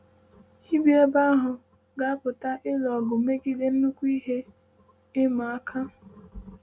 “Ị bi ebe ahụ ga-apụta ịlụ ọgụ megide nnukwu ihe ịma aka.”